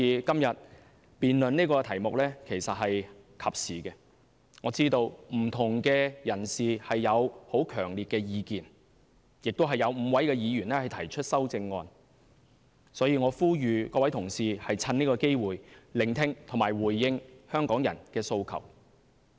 今天辯論這個題目其實是及時的，我知道不同人士有很強烈的意見，有5位議員提出修正案，所以我呼籲各位同事藉此機會聆聽和回應香港人的訴求。